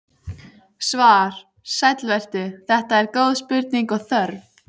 Svar: Sæll vertu, þetta eru góð spurning og þörf.